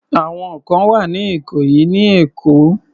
Ẹ̀wọ̀n kan wà ní ìkòyí ní Èkó.